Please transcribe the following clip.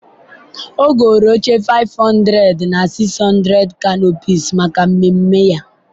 ọ goro oche 500 na 600 canopies maka mmemme ya.